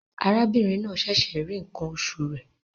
Arábìnrin náà ṣẹ̀ṣẹ̀ rí ìṣàn oṣù rẹ̀.